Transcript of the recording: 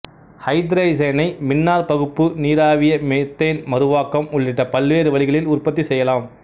ஐத்ரசனை மின்னாற்பகுப்பு நீராவிய மெத்தேன் மறுவாக்கம் உள்ளிட்ட பல்வேறு வழிகளில் உற்பத்தி செய்யலாம்